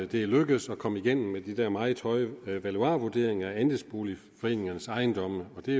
det er lykkedes at komme igennem med de der meget høje valuarvurderinger af andelsboligforeningernes ejendomme og det